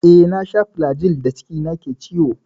Eh, na sha flajil da cikina ke ciwo.